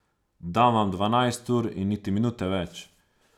Dam vam dvanajst ur in niti minute več.